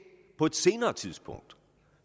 på et senere tidspunkt